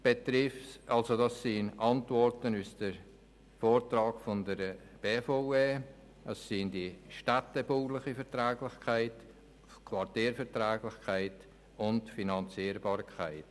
Gemäss den Antworten der BVE sind dies die städtebauliche Verträglichkeit, die Quartierverträglichkeit und die Finanzierbarkeit.